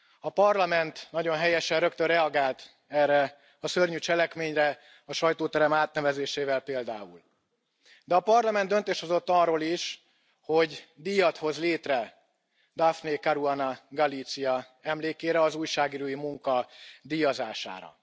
A Parlament nagyon helyesen rögtön reagált erre a szörnyű cselekményre, a sajtóterem átnevezésével például, de a Parlament döntést hozott arról is, hogy díjat hoz létre Daphne Caruana Galizia emlékére, az újságírói munka díjazására.